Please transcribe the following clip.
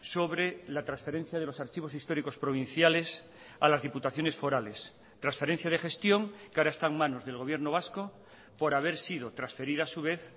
sobre la transferencia de los archivos históricos provinciales a las diputaciones forales transferencia de gestión que ahora está en manos del gobierno vasco por haber sido transferida a su vez